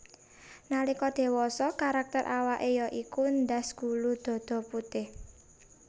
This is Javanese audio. Nalika dewasa karakter awake ya iku ndas gulu dada putih